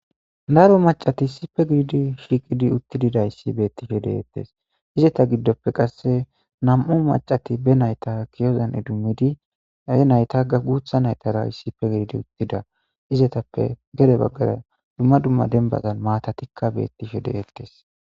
Daro macati issippe shiqqiddi uttididayiss betishshe de'etes .izeta giddoppe qase nam''u macati be nayita ki'ozanni idimidd he nayita guththa nayitara issippe gididi eqqida izetappe gede bagara dumma dumma denibatanni matatikka betishshe de'etees.